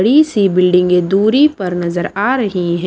बड़ी सी बिल्डिंगें दूरी पर नजर आ रही हैं।